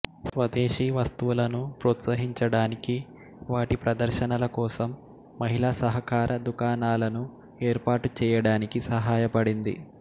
స్వదేశీ వస్తువులను ప్రోత్సహించడానికి వాటి ప్రదర్శనల కోసం మహిళా సహకార దుకాణాలను ఏర్పాటు చేయడానికి సహాయపడింది